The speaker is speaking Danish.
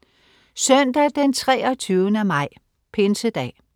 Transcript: Søndag den 23. maj. Pinsedag